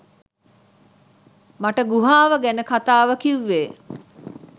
මට ගුහාව ගැන කතාව කිව්වේ